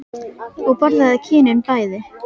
Og borðaðu kynin bæði.